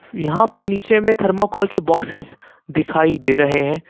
यहां पर नीचे में थर्माकोल के बॉक्सेस दिखाई दे रहे हैं।